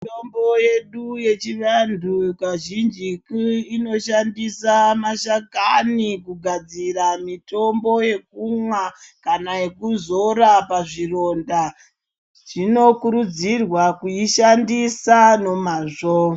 Mitombo yedu yechivantu kazhinjiku inoshandisa mashakani kugadzira mitombo yekumwa, kana yekuzora pazvironda. Zvinokurudzirwa kuishandisa nomazvo.